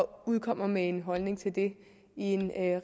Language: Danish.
udkommer med en holdning til det i en